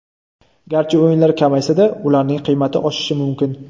Garchi o‘yinlar kamaysa-da, ularning qiymati oshishi mumkin.